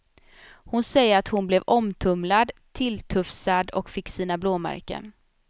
Hon säger att hon blev omtumlad, tilltufsad och fick sina blåmärken.